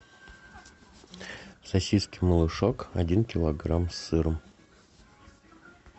сосиски малышок один килограмм с сыром